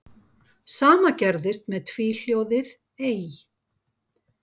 Sama gerðist með tvíhljóðið ey.